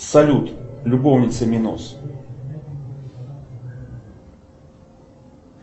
салют любовницы миноз